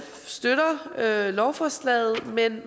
støtter lovforslaget men